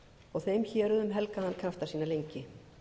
og þeim héruðum helgaði hann krafta sína lengi